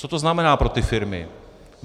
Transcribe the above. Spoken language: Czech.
Co to znamená pro ty firmy?